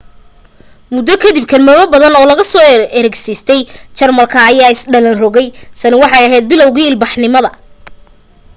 muddo ka dib kelmado badan oo laga soo ergistay jarmalka ayaa is dhalan rogay tani waxay ahayd bilowguu ilbaxnimada